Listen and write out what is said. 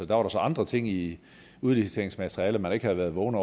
der var der så andre ting i udliciteringsmaterialet man ikke havde vågen